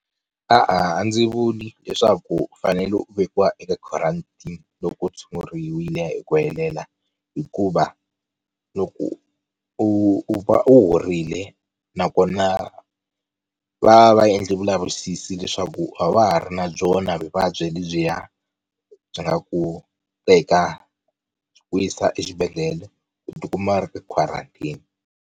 E-e, a ndzi vuli leswaku u fanele u vekiwa eka quarantine, loko u tshunguriwile hi ku helela, hikuva loko u va u horile nakona va va va endlile vulavisisi leswaku a wa ha ri na byona vuvabyi lebyiya byi nga ku teka byi ku yisa exibedhlele u tikuma u ri ka quarantine.